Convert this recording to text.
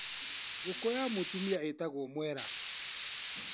Ngũkũ ya mũtumia ĩtagwo mwera.